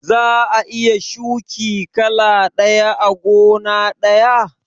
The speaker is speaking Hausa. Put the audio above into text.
Za'a iya shuki kala ɗaya a gona ɗaya?